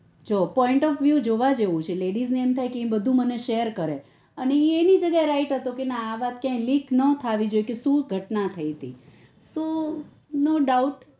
જો point of you જોવા જેવું છે ladies ને એમથાય કે બધું શેર કરે એ અની જગ્યા અ right હતો કે ના અવાત link ના થવી જોઈએ કે શુ ઘટના થઇ હતી સો નો